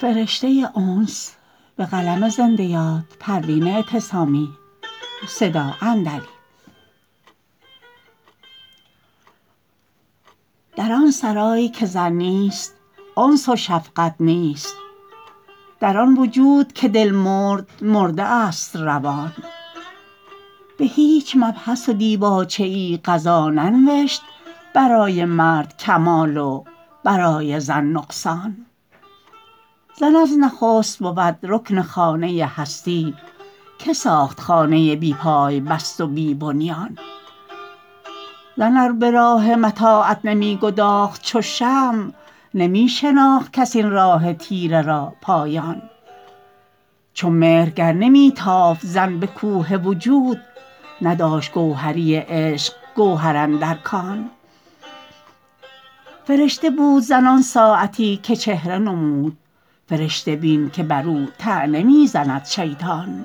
در آن سرای که زن نیست انس و شفقت نیست در آن وجود که دل مرده مرده است روان بهیچ مبحث و دیباچه ای قضا ننوشت برای مرد کمال و برای زن نقصان زن از نخست بود رکن خانه هستی که ساخت خانه بی پای بست و بی بنیان زن ار براه متاعب نمیگداخت چو شمع نمیشناخت کس این راه تیره را پایان چو مهر گر که نمیتافت زن بکوه وجود نداشت گوهری عشق گوهر اندر کان فرشته بود زن آن ساعتی که چهره نمود فرشته بین که برو طعنه میزند شیطان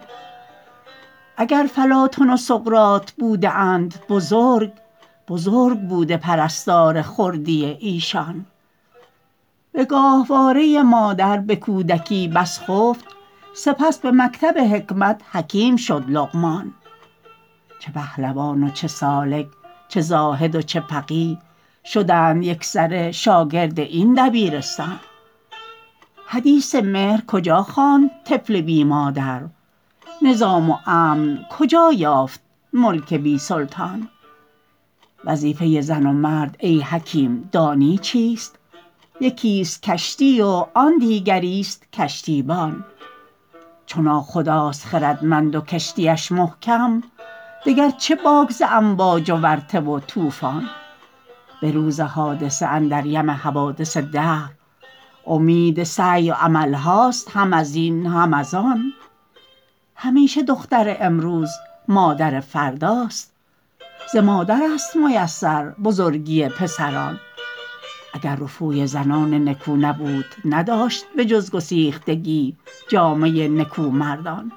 اگر فلاطن و سقراط بوده اند بزرگ بزرگ بوده پرستار خردی ایشان بگاهواره مادر بکودکی بس خفت سپس بمکتب حکمت حکیم شد لقمان چه پهلوان و چه سالک چه زاهد و چه فقیه شدند یکسره شاگرد این دبیرستان حدیث مهر کجا خواند طفل بی مادر نظام و امن کجا یافت ملک بی سلطان وظیفه زن و مرد ای حکیم دانی چیست یکیست کشتی و آن دیگریست کشتیبان چو ناخداست خردمند و کشتیش محکم دگر چه باک ز امواج و ورطه و طوفان بروز حادثه اندر یم حوادث دهر امید سعی و عملهاست هم ازین هم ازان همیشه دختر امروز مادر فرداست ز مادرست میسر بزرگی پسران اگر رفوی زنان نکو نبود نداشت بجز گسیختگی جامه نکو مردان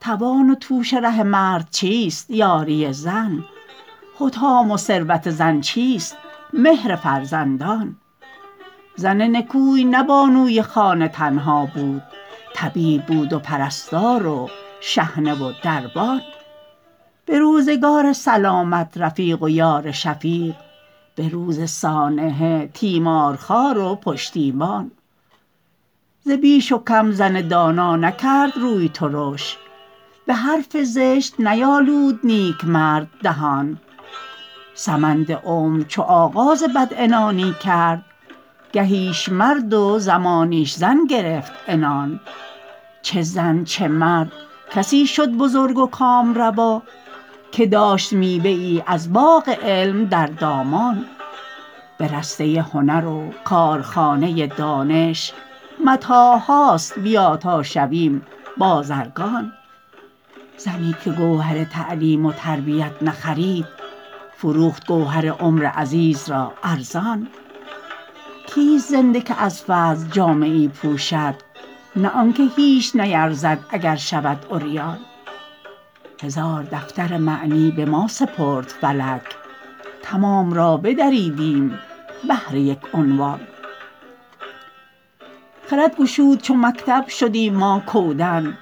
توان و توش ره مرد چیست یاری زن حطام و ثروت زن چیست مهر فرزندان زن نکوی نه بانوی خانه تنها بود طبیب بود و پرستار و شحنه و دربان بروزگار سلامت رفیق و یار شفیق بروز سانحه تیمارخوار و پشتیبان ز بیش و کم زن دانا نکرد روی ترش بحرف زشت نیالود نیکمرد دهان سمند عمر چو آغاز بدعنانی کرد گهیش مرد و زمانیش زن گرفت عنان چه زن چه مرد کسی شد بزرگ و کامروا که داشت میوه ای از باغ علم در دامان به رسته هنر و کارخانه دانش متاعهاست بیا تا شویم بازرگان زنی که گوهر تعلیم و تربیت نخرید فروخت گوهر عمر عزیز را ارزان کسیست زنده که از فضل جامه ای پوشد نه آنکه هیچ نیرزد اگر شود عریان هزار دفتر معنی بما سپرد فلک تمام را بدریدیم بهر یک عنوان خرد گشود چو مکتب شدیم ما کودن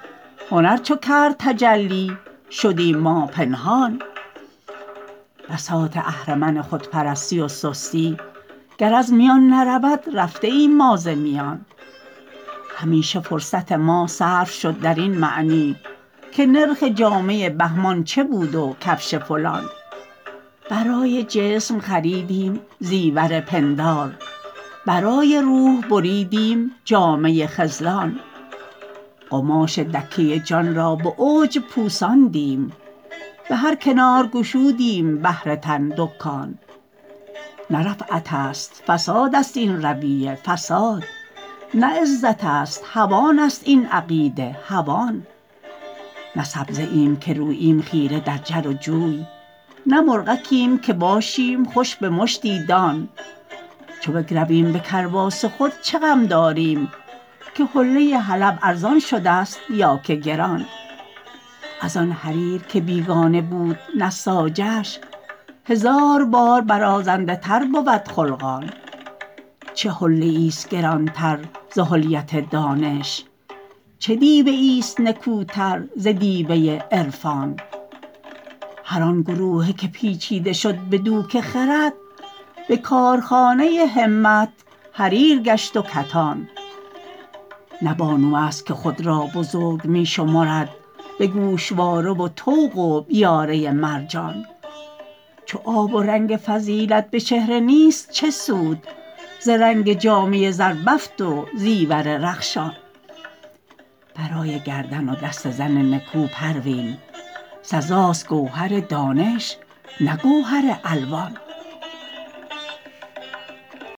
هنر چو کرد تجلی شدیم ما پنهان بساط اهرمن خودپرستی و سستی گر از میان نرود رفته ایم ما ز میان همیشه فرصت ما صرف شد درین معنی که نرخ جامه بهمان چه بود و کفش فلان برای جسم خریدیم زیور پندار برای روح بریدیم جامه خذلان قماش دکه جان را بعجب پوساندیم بهر کنار گشودیم بهر تن دکان نه رفعتست فساد است این رویه فساد نه عزتست هوانست این عقیده هوان نه سبزه ایم که روییم خیره در جر و جوی نه مرغکیم که باشیم خوش بمشتی دان چو بگرویم به کرباس خود چه غم داریم که حله حلب ارزان شدست یا که گران از آن حریر که بیگانه بود نساجش هزار بار برازنده تر بود خلقان چه حلیه ایست گرانتر ز حلیت دانش چه دیبه ایست نکوتر ز دیبه عرفان هر آن گروهه که پیچیده شد بدوک خرد به کارخانه همت حریر گشت و کتان نه بانوست که خود را بزرگ میشمرد بگوشواره و طوق و بیاره مرجان چو آب و رنگ فضیلت بچهره نیست چه سود ز رنگ جامه زربفت و زیور رخشان برای گردن و دست زن نکو پروین سزاست گوهر دانش نه گوهر الوان